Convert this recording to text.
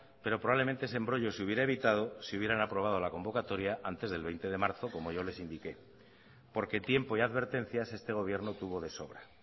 pero probablemente ese embrollo se hubiera evitado si hubieran aprobado la convocatoria antes del veinte de marzo como yo les indiqué porque tiempo y advertencias este gobierno tuvo de sobra